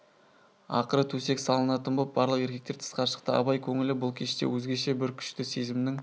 ақыры төсек салынатын боп барлық еркектер тысқа шықты абай көңілі бұл кеште өзгеше бір күшті сезімнің